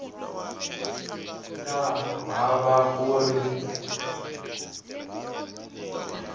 nga ha va ku ri